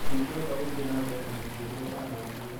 "ndingĩhota gũthiĩ na mbere na mũturire ũhana ũguo